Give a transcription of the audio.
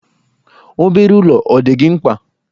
Obere ụlọ ọ dị gị mkpa?